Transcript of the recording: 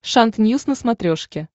шант ньюс на смотрешке